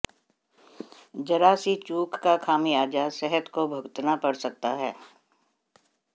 जरा सी चूक का खामियाजा सेहत को भुगतना पड़ सकता है